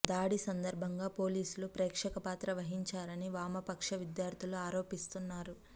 దాడి సందర్భంగా పోలీసులు ప్రేక్షక పాత్ర వహించారని వామపక్ష విద్యార్థులు ఆరోపిస్తున్నారు